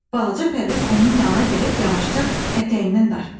Balaca Pərviz onun yanına gəlib yavaşca ətəyindən dartdı.